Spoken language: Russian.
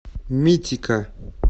митика